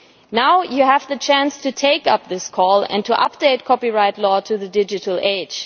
Now you have the chance to take up this call and to update copyright law to the digital age.